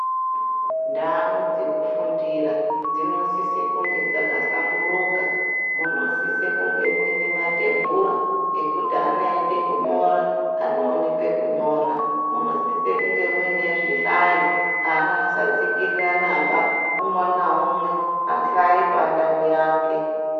Ndau dzekufundira dzinosise kunge dzakahlamburuka, munosise kunge mwuyine matebhura ekuti ana eyide kunyora, anowone pekunyora, munosise kunge muyine zvihlayo, ana asatsikiriranaba, umwe naumwe ahlaye pandau yake.